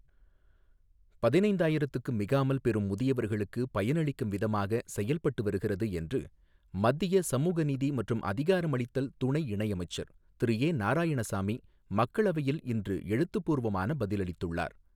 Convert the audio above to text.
பதினைந்தாயிரத்துக்கு மிகாமல் பெரும் முதியவர்களுக்கு பயனளிக்கும் விதமாக செயல்பட்டு வருகிறது என்று மத்திய சமூக நீதி மற்றும் அதிகாரமளித்தல் துணை இணையமைச்சர் திரு ஏ நாராயணசாமி மக்களவையில் இன்று எழுத்துப்பூர்வமான பதிலளித்துள்ளார்.